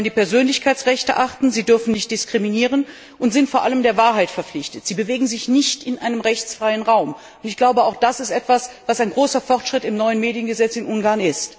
Sie sollen die Persönlichkeitsrechte achten, sie dürfen nicht diskriminieren und sind vor allem der Wahrheit verpflichtet. Sie bewegen sich nicht in einem rechtsfreien Raum. Auch das ist ein großer Fortschritt im neuen Mediengesetz in Ungarn.